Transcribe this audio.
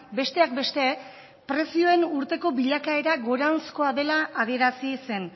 besteak beste prezioen urteko bilakaera goranzkoa dela adierazi zen